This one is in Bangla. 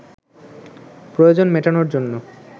প্রয়োজন মেটানোর জন্য